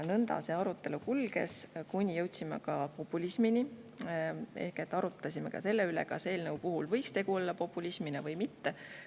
Nõnda see arutelu kulges, kuni jõudsime ka populismini ehk arutasime, kas eelnõu puhul võiks tegu olla populismiga või mitte.